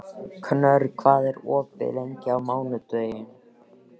Knörr, hvað er opið lengi á mánudaginn?